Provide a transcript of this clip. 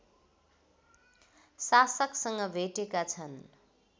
शासकसँग भेटेका छन्